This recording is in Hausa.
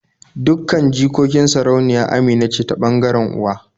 Dukkan jikokin sarauniya Amina ce ta ɓangaren uwa